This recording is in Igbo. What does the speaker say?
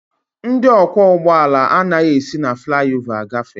Ndị ọkwọ ụgbọala anaghị esi na flaị ova agafe.